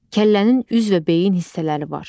Kəllənin üz və beyin hissələri var.